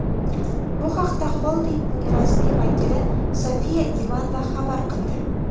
Bu haqda xoldingning rasmiy vakili Sofiya Ivanova xabar qildi.